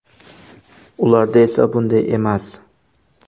Ularda esa bunday emas.